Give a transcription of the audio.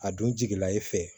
A dun jigila e fɛ